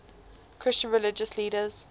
christian religious leaders